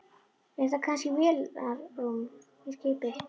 Er þetta kannski vélarrúm í skipi?